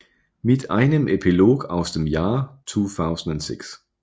Mit einem Epilog aus dem Jahr 2006